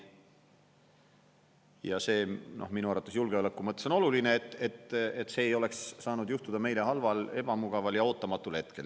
Ja see minu arvates julgeoleku mõttes on oluline, et see ei oleks saanud juhtuda meile halval, ebamugaval ja ootamatul hetkel.